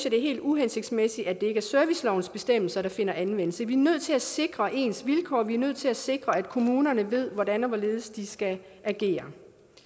at det er helt uhensigtsmæssigt at det ikke er servicelovens bestemmelser der finder anvendelse vi er nødt til at sikre ens vilkår vi er nødt til at sikre at kommunerne ved hvordan og hvorledes de skal agere